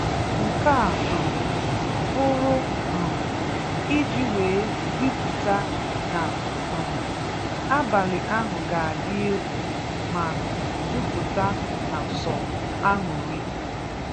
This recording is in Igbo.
Nke a um bụrụ um iji wee ziputa na um abalị ahụ ga-adị egwu ma juputa na sọ aṅụrị.